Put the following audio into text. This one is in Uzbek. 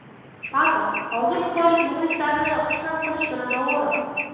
Pato hozir xitoylik muxlislarni xursand qilish bilan ovora.